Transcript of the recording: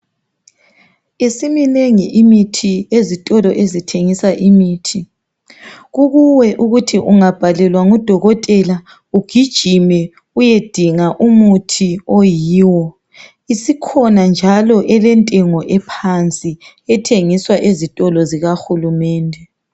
Isiminengi imithi ezitolo ezithengisa imithi kukuwe ukuthi ungabhalelwa ngudokotela ugijime uyedinga umuthi oyiwo. Isikhona njalo elentengo ephansi ethengiswa ezitolo zikahulumende.